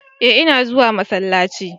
eh ina zuwa masallaci